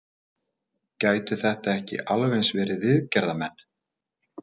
Gætu þetta ekki alveg eins verið viðgerðarmenn?